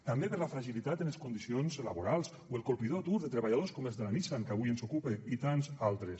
també per la fragilitat en les condicions laborals o el colpidor atur de treballadors com els de la nissan que avui ens ocupa i tants altres